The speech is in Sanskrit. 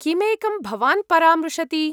किम् एकं भवान् परामृशति ?